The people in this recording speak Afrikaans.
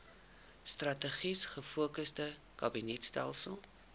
strategies gefokusde kabinetstelsel